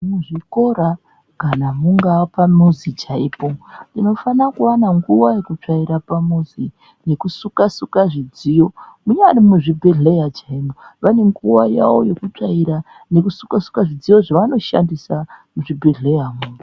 Muzvikora kana mungaa pamuzi chaipo tinofana kuwana nguwa yekutsvaira pamuzi nekusuka suka zvidziyo. Munyari muzvibhedhleya chaimo vane nguwa yawo yekutsvaira nekusuka suka zvidziyo zvavo zvavanoshandisa muzvibhedhleyamwo.